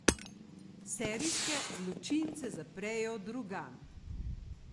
Serijske zločince zaprejo drugam.